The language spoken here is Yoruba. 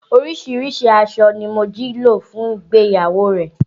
Oríṣiríṣi aṣọ ni Mojí lò fún ìgbéyàwó rẹ̀